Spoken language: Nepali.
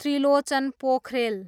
त्रिलोचन पोखरेल